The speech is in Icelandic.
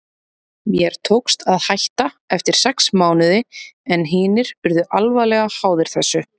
Mér tókst að hætta eftir sex mánuði en hinir urðu alvarlega háðir þessu.